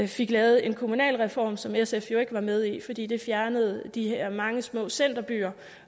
fik lavet en kommunalreform som sf jo ikke var med i fordi den fjernede de her mange små centerbyer